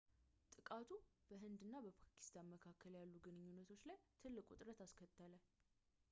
ጥቃቱ በህንድ እና ፓኪስታን መካከል ያሉ ግንኙነቶች ላይ ትልቅ ውጥረት አስከተለ